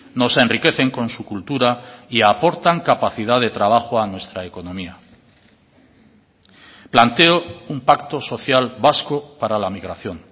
nos enriquecen con su cultura y aportan capacidad de trabajo a nuestra economía planteo un pacto social vasco para la migración